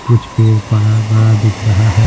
कुछ पेड़ पड़ाबड़ा दिख रहाह--